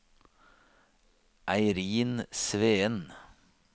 Eirin Sveen